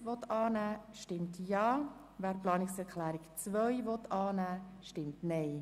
Wer diese annehmen will, stimmt Ja, wer diese ablehnt, stimmt Nein.